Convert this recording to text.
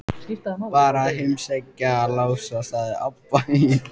Bara að heimsækja Lása, sagði Abba hin.